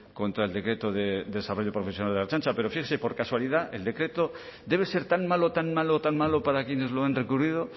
contra el decreto de desarrollo profesional de la ertzaintza pero fíjese por casualidad el decreto debe ser tan malo tan malo tan malo para quienes lo han recurrido